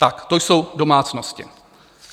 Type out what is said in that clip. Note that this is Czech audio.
Tak to jsou domácnosti.